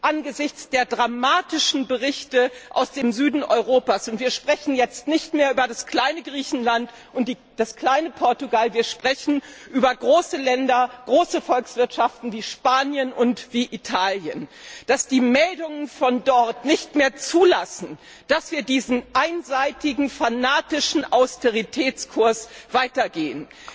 Angesichts der dramatischen Berichte aus dem Süden Europas wir sprechen jetzt nicht mehr über das kleine Griechenland und das kleine Portugal, sondern wir sprechen über große Länder, große Volkswirtschaften wie Spanien und Italien glaube ich, dass die Meldungen von dort nicht mehr zulassen, dass wir diesen einseitigen fanatischen Austeritätskurs weitergehen.